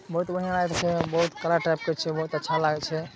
बहुत बढ़िया लागे छै। बोहत कड़ा टाइप के छै। बोहत अच्छा लागे छै।